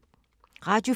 Radio 4